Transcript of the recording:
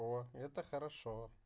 о это хорошо